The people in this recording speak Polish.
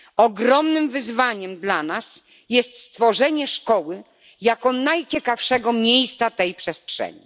Ogromnym wyzwaniem dla nas jest stworzenie szkoły jako najciekawszego miejsca tej przestrzeni.